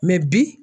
bi